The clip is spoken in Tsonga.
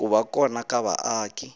ku va kona ka vaaki